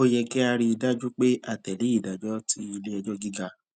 ó yẹ kí a rí i dájú pé a tè lé ìdájọ tí ilé ẹjọ gíga